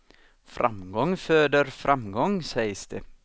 Framgång föder framgång, sägs det.